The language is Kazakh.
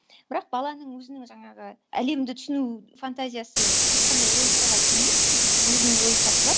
бірақ баланың өзінің жаңағы әлемді түсіну фантазиясы ешқандай логикаға келмейді ммм өзінің логикасы бар